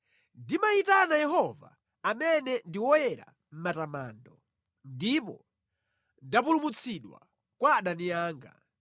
Ndimayitana Yehova amene ndi woyenera matamando, ndipo ndapulumutsidwa kwa adani anga.